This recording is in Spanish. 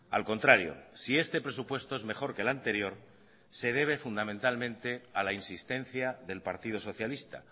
al contrario si este presupuesto es mejor que el anterior se debe fundamentalmente a la insistencia del partido socialista